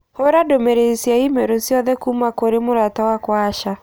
hũũra ndũmĩrĩri cia i-mīrū ciothe kuuma kũrĩ mũrata wakwa Asha.